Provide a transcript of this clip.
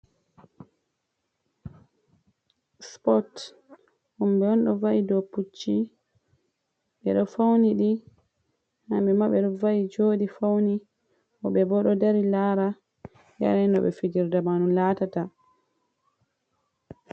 Spot himɓe on ɗo va'i hado pucchi ɓeɗo fauni ɗi hamɓe ma ɓeɗo va'i joɗi fauni woɓɓe bo ɗo dari lara ɓe aina no fijirde man latata.